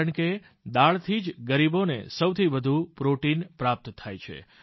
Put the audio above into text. કારણ કે દાળથી જ ગરીબોને સૌથી વધુ પ્રોટીન પ્રાપ્ત થાય છે